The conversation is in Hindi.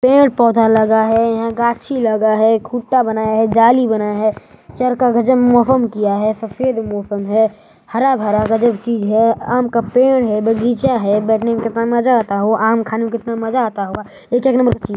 पेड़ पौधा लगा है यहां गाछी लगा है खूटा बना है जाली बना है चर का गजब मौसम किया है सफेद मौसम है हरा भरा गजब चीज है आम का पेड़ है बगीचा है बैठने में कितना मजा आता होगा आम खाने में कितना मजा आता होगा ये तो एक नंबर का चीज है।